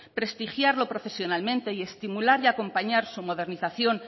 prestigiarlo profesionalmente y estimular y acompañar su modernización